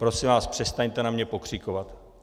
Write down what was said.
Prosím vás, přestaňte na mě pokřikovat.